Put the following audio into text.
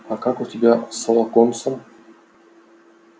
а как у тебя с локонсом